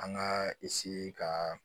An ka ka